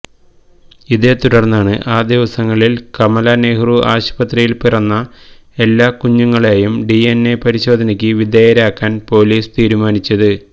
ഇതേത്തുടര്ന്നാണ് ആ ദിവസങ്ങളില് കമല നെഹ്റു ആശുപത്രിയില് പിറന്ന എല്ലാ കുഞ്ഞുങ്ങളെയും ഡിഎന്എ പരിശോധനയ്ക്ക് വിധേയരാക്കാന് പൊലീസ് തീരുമാനിച്ചത്